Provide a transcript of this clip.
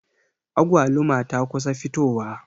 Agwaluma ta kusa fitowa.